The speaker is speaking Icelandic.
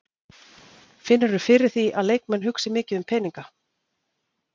Finnurðu fyrir því að leikmenn hugsi mikið um peninga?